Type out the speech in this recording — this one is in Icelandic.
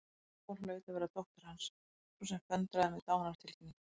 Lóa hlaut að vera dóttir Hans, sú sem föndraði með dánartilkynningar.